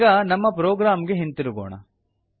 ಈಗ ನಮ್ಮ ಪ್ರೊಗ್ರಾಮ್ ಗೆ ಹಿಂದಿರುಗೋಣ